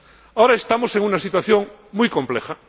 Ahora estamos en una situación muy compleja.